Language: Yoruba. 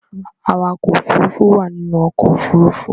Awakọ̀ òfurufú wà nínú ọkọ̀-òfurufú.